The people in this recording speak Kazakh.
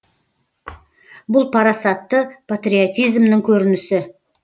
бұл парасатты патриотизмнің көрінісі